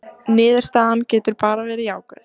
Niðurstaðan getur bara verið jákvæð